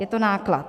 Je to náklad.